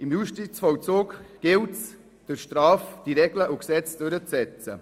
Im Justizvollzug gilt es, durch Strafe die Regeln und Gesetze durchzusetzen.